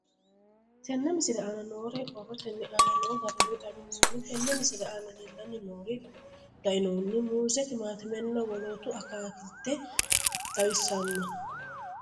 Tenne misile aana noore borrotenni aane noo garinni xawiseemo. Tenne misile aana leelanni nooerri leinno muuze timaatimenna wolootta akaakilte xawissanno.